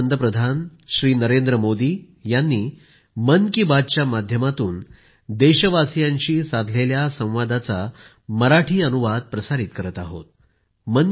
पंतप्रधान नरेंद्र मोदी यांनी आज दिनांक 24 ऑक्टोबर 2021 रोजी आकाशवाणीवरून देशाच्या नागरिकांना मन की बात द्वारे केलेले संबोधन